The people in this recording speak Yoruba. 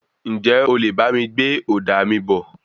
Ǹjẹ́ o lè bá mi gbé òdà mí bọ̀?